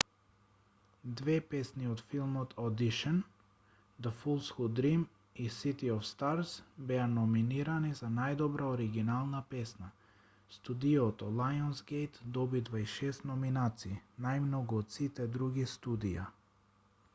две песни од филмот audition the fools who dream и city of stars беа номинирани за најдобра оригинална песна. студиото лајонсгејт доби 26 номинации - најмногу од сите други студија